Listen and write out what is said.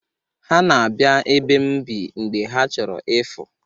Ha na-abịa ebe m bi mgbe ha chọrọ ịfụ.